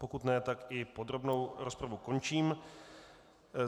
Pokud ne, tak i podrobnou rozpravu končím.